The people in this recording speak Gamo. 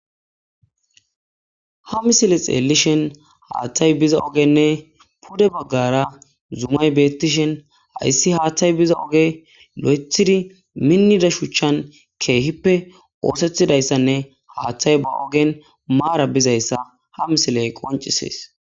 ha misile xeellishen haathtay biza ogenne pude baggara zumay bettishen ayssi haaththay biza oge lo7ethidi minnida shuchan keehippe oosethidayssanne haaththay ba ogen maara bizayssa ha misiley qoncisees